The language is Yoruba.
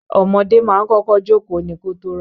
Ọmọdé ma ń kọ́kọ́ jókóò ni kótó rá.